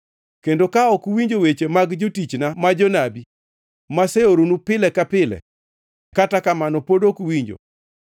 kendo ka ok uwinjo weche mag jotichna ma jonabi, maseoronu pile ka pile (kata kamano pod ok uwinjo),